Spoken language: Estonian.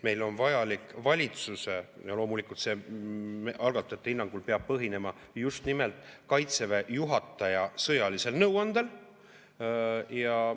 Loomulikult peab see algatajate hinnangul põhinema just nimelt Kaitseväe juhataja sõjalisel nõuandel.